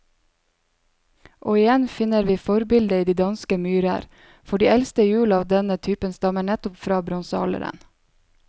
Og igjen finner vi forbildet i de danske myrer, for de eldste hjul av denne type stammer nettopp fra bronsealderen.